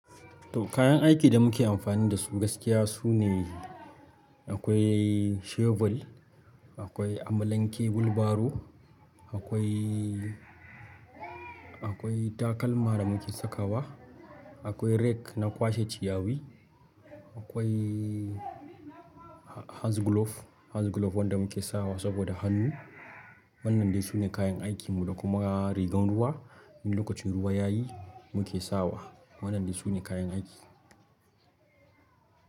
To kayan aikin da muke amfani dasu gaskiya sune akwai shovel, akwai amalanke wul baro, akwai, akwai takalma da muke sakawa, akwai rake na kwashe ciyawi, akwai ha-haz glove, haz glove wanda muke sawa saboda hannu. Wannani ne su ne kayan aikin mu da kuma rigan ruwa, in lokacin ruwa yayi muke sawa. Waɗannan su ne kayan aiki.